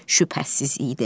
şübhəsiz idi.